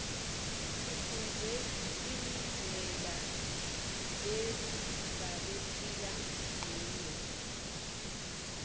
sifunbze inblela lebabephila nquyo